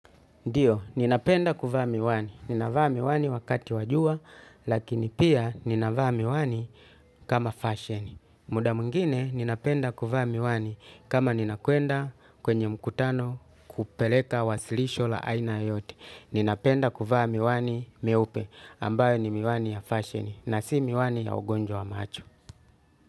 Ndiyo, ninapenda kuvaa miwani. Ninavaa miwani wakati wa jua, lakini pia ninavaa miwani kama fashion. Muda mwingine ninapenda kuvaa miwani kama ninakwenda kwenye mkutano kupeleka wasilisho la aina yoyote. Ninapenda kuvaa miwani meupe ambayo ni miwani ya fashion na si miwani ya ugonjwa wa macho.